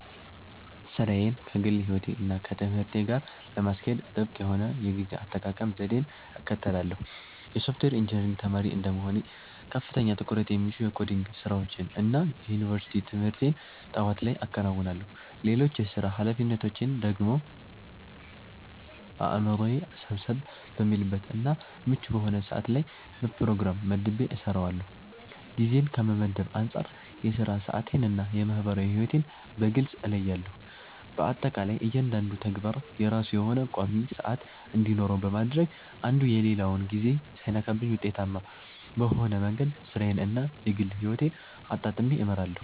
ሥራዬን ከግል ሕይወቴ እና ከትምህርቴ ጋር ለማስኬድ ጥብቅ የሆነ የጊዜ አጠቃቀም ዘዴን እከተላለሁ። የሶፍትዌር ኢንጂነሪንግ ተማሪ እንደመሆኔ ከፍተኛ ትኩረት የሚሹ የኮዲንግ ስራዎችን እና የዩኒቨርሲቲ ትምህርቴን ጠዋት ላይ አከናውናለሁ። ሌሎች የሥራ ኃላፊነቶቼን ደግሞ አእምሮዬ ሰብሰብ በሚልበት እና ምቹ በሆነ ሰዓት ላይ በፕሮግራም መድቤ እሰራዋለሁ። ጊዜን ከመመደብ አንፃር የሥራ ሰዓቴን እና የማህበራዊ ሕይወቴን በግልጽ እለያለሁ። በአጠቃላይ እያንዳንዱ ተግባር የራሱ የሆነ ቋሚ ሰዓት እንዲኖረው በማድረግ አንዱ የሌላውን ጊዜ ሳይነካብኝ ውጤታማ በሆነ መንገድ ሥራዬን እና የግል ሕይወቴን አጣጥሜ እመራለሁ።